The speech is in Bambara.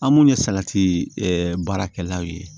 An minnu ye salati baarakɛlaw ye